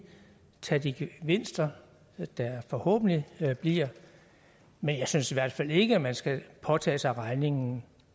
tage de gevinster der forhåbentlig bliver men jeg synes i hvert fald ikke man skal påtage sig regningen